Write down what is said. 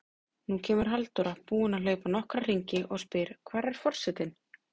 Nú kemur Halldóra, búin að hlaupa nokkra hringi, og spyr: Hvar er forsetinn?